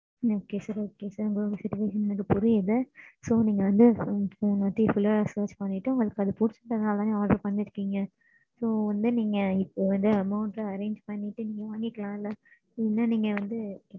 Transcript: ஆஹ் ஆமாம் mam